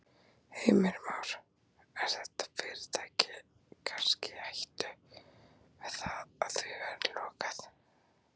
Heimir Már: Er þetta fyrirtæki kannski í hættu með það að því verði lokað?